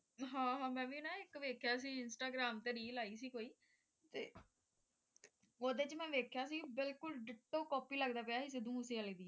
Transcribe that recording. ਹਾਂ ਹਾਂ ਮੈਂ ਵੀ ਨਾ ਇੱਕ ਵੇਖਿਆ ਸੀ ਇੰਸਟਾਗ੍ਰਾਮ ਤੇ Reel ਆਈ ਸੀ ਕੋਈ ਤੇ ਓਹਦੇ ਚ ਮੈਂ ਵੇਖਿਆ ਸੀ ਬਿਲਕੁਲ ditto copy ਲੱਗਦਾ ਪਿਆ ਸੀ ਸਿੱਧੂ ਮੂਸੇਵਾਲੇ ਦੀ